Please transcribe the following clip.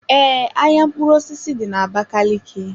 Ee, ahịa mkpụrụ osisi dị na Abakaliki.